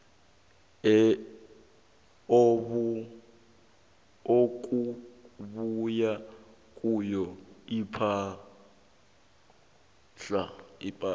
okubuya kiyo ipahla